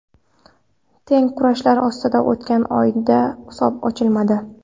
Teng kurashlar ostida o‘tgan o‘yinda hisob ochilmadi.